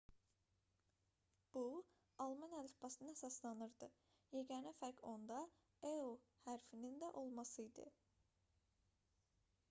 bu alman əlifbasına əsaslanırdı yeganə fərqi onda õ/õ hərfinin də olması idi